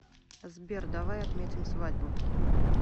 сбер давай отметим свадьбу